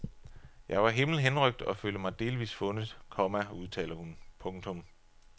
Jeg var himmelhenrykt og følte mig delvist fundet, komma udtaler hun. punktum